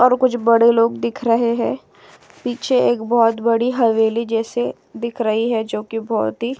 और कुछ बड़े लोग दिख रहे हैं। पीछे एक बोहोत बड़ी हवेली जैसे दिख रही है जोकि बोहोत ही --